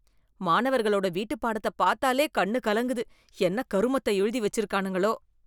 மாணவர்களோட வீட்டு பாடத்த பாத்தாலே கண்ணு கலங்குது, என்ன கருமத்த எழுதி வெச்சு இருக்கானுங்களோ.